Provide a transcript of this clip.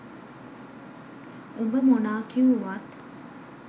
උබ මොනා කිව්වුවත්